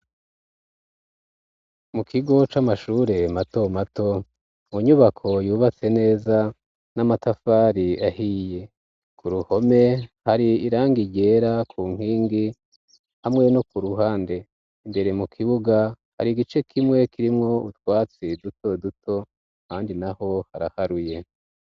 Mu kigo c'amashure mato mato mu nyubako yubatse neza n'amatafari ahiye ku ruhome hari irangi ryera ku nkingi hamwe no ku ruhande imbere mu kibuga hari igice kimwe kirimwo utwatsi duto duto ahandi naho haraharuye.